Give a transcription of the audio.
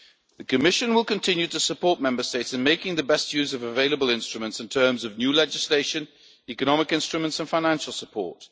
The Commission will continue to support Member States in making the best use of available instruments in terms of new legislation, economic instruments and financial support.